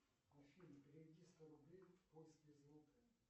афина переведи сто рублей в польские злоты